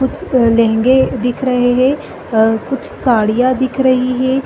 कुछ लहंगे दिख रहे है अ कुछ साड़ियां दिख रही है।